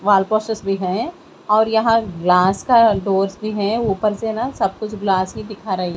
wall process भी है और यहां ग्लास का दोस्त भी है ऊपर से ना सब कुछ ग्लास ही दिखा र--